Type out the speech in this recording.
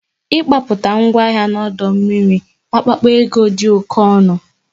Ị gbapụta ngwa ahịa n'ọdụ ụgbọ mmiri Apapa dị oké ọnụ